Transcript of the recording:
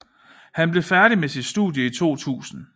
Han blev færdig med sit studie i 2000